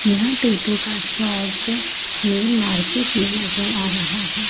यह टैटू का shop main market में नजर आ रहा है।